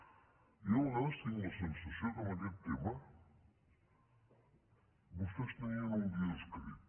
jo a vegades tinc la sensació que en aquest tema vostès tenien un guió escrit